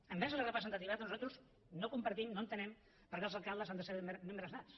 envers la representativitat nosaltres no compartim no entenem per què els alcaldes han de ser membres nats